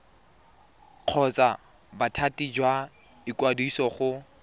kgotsa bothati jwa ikwadiso go